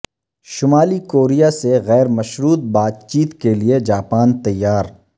شمالی کوریا سے غیر مشروط بات چیت کیلئے جاپان تیار